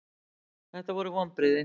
Þetta voru vonbrigði.